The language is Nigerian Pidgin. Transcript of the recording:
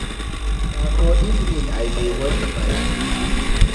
Na for evening I go dey wash my school uniform.